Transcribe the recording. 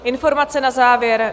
Informace na závěr.